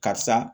Karisa